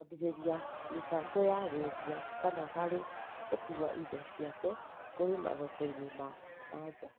kũambĩrĩria mĩbango ya wendia kana harĩ gũkuua indo ciake kũrĩ mathoko ma nja.